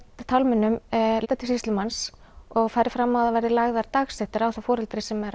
tálmunum leitað til sýslumanns og farið fram á að það verði lagðar dagsektir á það foreldri sem er